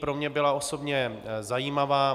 Pro mě byla osobně zajímavá.